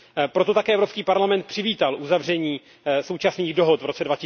Proto také Evropský parlament přivítal uzavření současných dohod v roce